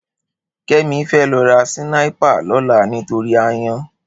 Kemi fè lò rá sìnàípá lòlá nitóri àáyàn